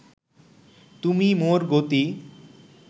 তুমি মোর গতি